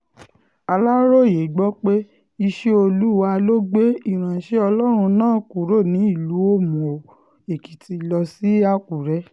aláròye gbọ́ pé iṣẹ́ olúwa ló gbé ìránṣẹ́ ọlọ́run náà kúrò ní ìlú òmùó-èkìtì lọ sí àkùrẹ́